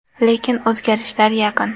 Lekin o‘zgarishlar yaqin.